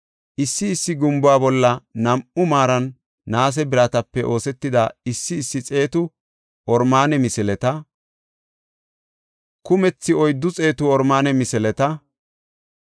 issi issi gumbuwa bolla nam7u maaran naase biratape oosetida issi issi xeetu oromaane misileta, kumthi oyddu xeetu oromaane misileta,